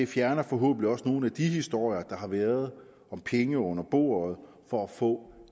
fjerner forhåbentlig også nogle af de historier der har været om penge under bordet for at få